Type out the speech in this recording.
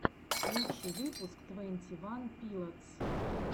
лучший выпуск твенти ван пилотс